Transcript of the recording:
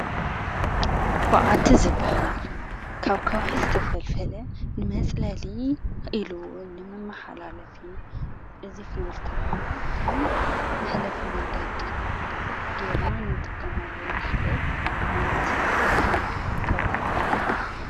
ብዓቲ ዝባሃል ካብ ከውሒ ዝተፈልፈለ ንመፅለሊ ኢሉውን ንመመሓላለፊ እዚ ክንብል ከለና ኸም መሕለፊ መንገዲ ጌርና ንጥቀሞሉ ንኽእል ዓይነ ስነ ፊልፍል ከውሒ እዩ፡፡